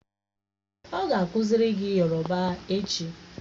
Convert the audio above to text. Èè, o ga akuziri gi yoroba echi.